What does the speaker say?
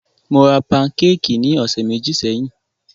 Mó rá pankékì ní ọ̀sẹ̀ méjì sẹ́yìn.